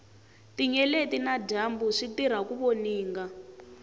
tinyeleti na dyambu switirha ku voninga